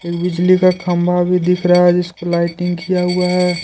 बिजली का खंभा भी दिख रहा है जिसपर लाइटिंग किया हुआ है।